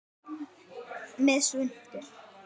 Með svuntu.